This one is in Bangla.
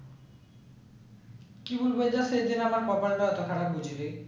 কি বলবো আমার কপালটা এতো খারাপ